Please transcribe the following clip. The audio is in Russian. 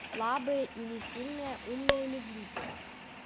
слабые или сильные умные или глупые